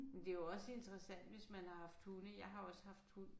Men det jo også interessant hvis man har haft hunde jeg har også haft hund